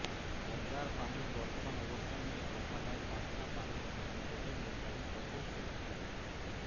পদ্মার পানির বর্তমান অবস্থা নিয়ে কথা হয় পাবনা পানি উন্নয়ন বোর্ডের নির্বাহী প্রকৌশলী মো